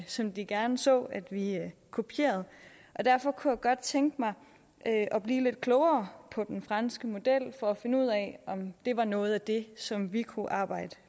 som de gerne så at vi kopierede derfor kunne jeg godt tænke mig at blive lidt klogere på den franske model for at finde ud af om det var noget af det som vi kunne arbejde